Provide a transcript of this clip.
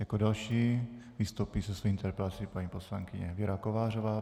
Jako další vystoupí se svou interpelací paní poslankyně Věra Kovářová.